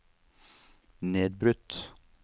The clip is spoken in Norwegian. nedbrutt